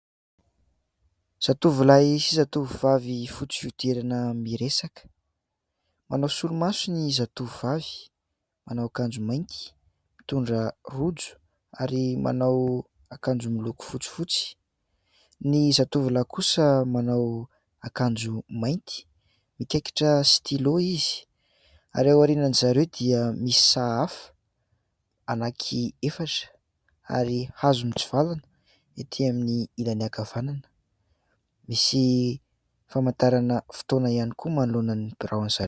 Zatovolahy sy zatovovavy fotsy fiodirana miresaka, manao solomaso ny zatovovavy, manao akanjo mainty mitondra rojo ary manao akanjo miloko fotsifotsy. Ny zatovolahy kosa manao akanjo mainty mikaikitra "stylo" izy ary ao arianan'izareo dia misy sahafa anaky efatra ary hazo mitsivalana ety amin'ilany ankavanana. Misy famantarana fotoana ihany koa manoloana ny birao anzia.